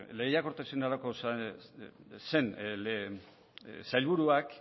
lehiakortasuna zen sailburuak